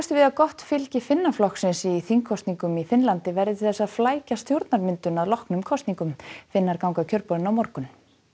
við að gott fylgi Finnaflokksins í þingkosningum í Finnlandi verði til þess að flækja stjórnarmyndun að loknum kosningum Finnar ganga að kjörborðinu á morgun